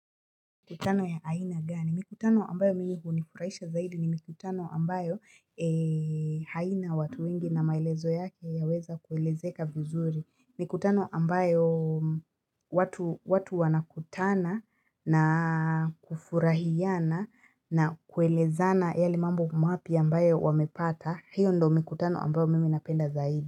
Mikutano ya aina gani? Mikutano ambayo mimi hunifurahisha zaidi ni mikutano ambayo haina watu wengi na maelezo yake yaweza kuelezeka vizuri. Mikutano ambayo watu wanakutana na kufurahiana na kuelezana yale mambo mapya ambayo wamepata. Hiyo ndo mikutano ambayo mimi napenda zaidi.